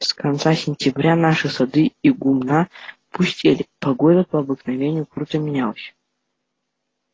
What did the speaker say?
с конца сентября наши сады и гумна пустели погода по обыкновению круто менялась